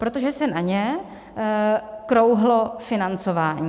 Protože se na ně krouhlo financování.